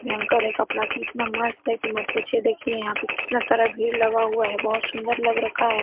भयंकर है कपड़ा कि इतना मस्त है की मत पूछीए देखिए यहां पे कितना सारा भीड़ लगा हुआ है बहोत सुंदर लग रखा है।